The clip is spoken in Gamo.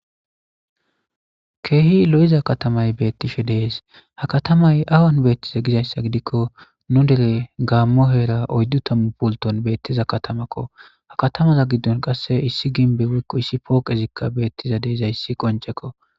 Keehi lo7iza katamay beettishe dees ha katamay awan beettiza gizayssa gidikko nu dere gaammo heera oyddu tammu pulton beettiza katamakko ha katamaza giddon qasse issi ginbe wikko issi pooqezikka beettiza deezayssi qoncekko.